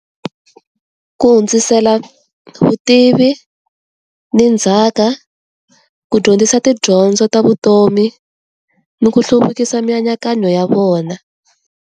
Ku hundzisela vutivi ni ndzhaka, ku dyondzisa tidyondzo ta vutomi ni ku hluvukisa mianakanyo ya vona.